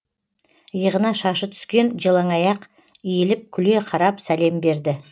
иығына шашы түскен жалаңаяқ иіліп күле қарап сәлем берді